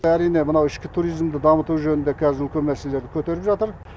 әрине мынау ішкі туризмді дамыту жөнінде қазір үлкен мәселелерді көтеріп жатыр